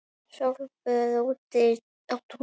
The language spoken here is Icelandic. Sólböð úti á túni.